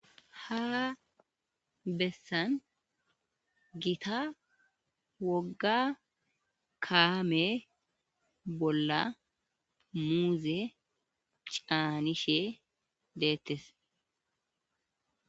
ha bessan gita wogga kaame bolla muuze caanishe deettes